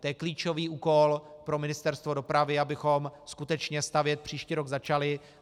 To je klíčový úkol pro Ministerstvo dopravy, abychom skutečně stavět příští rok začali.